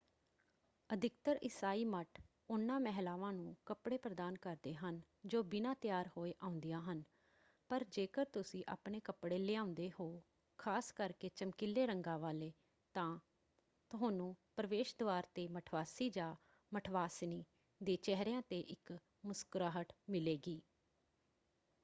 ਅਧਿਕਤਰ ਇਸਾਈ ਮੱਠ ਉਹਨਾਂ ਮਹਿਲਾਵਾਂ ਨੂੰ ਕੱਪੜੇ ਪ੍ਰਦਾਨ ਕਰਦੇ ਹਨ ਜੋ ਬਿਨਾਂ ਤਿਆਰ ਹੋਏ ਆਉਂਦੀਆਂ ਹਨ ਪਰ ਜੇਕਰ ਤੁਸੀਂ ਆਪਣੇ ਕੱਪੜੇ ਲਿਆਉਂਦੇ ਹੋ ਖ਼ਾਸ ਕਰਕੇ ਚਮਕੀਲੇ ਰੰਗਾਂ ਵਾਲੇ ਤਾਂ ਤੁਹਾਨੂੰ ਪ੍ਰਵੇਸ਼ ਦਵਾਰ 'ਤੇ ਮਠਵਾਸੀ ਜਾਂ ਮਠਵਾਸਿਨੀ ਦੇ ਚਿਹਰਿਆਂ 'ਤੇ ਇੱਕ ਮੁਸਕਰਾਹਟ ਮਿਲੇਗੀ।